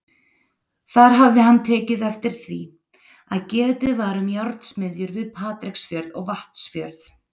Þar hafði hann tekið eftir því, að getið var um járnsmiðjur við Patreksfjörð og Vatnsfjörð.